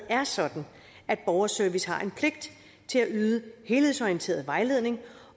er sådan at borgerservice har en pligt til at yde helhedsorienteret vejledning